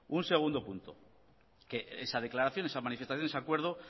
un segundo punto que esa declaración esa manifestación ese acuerdo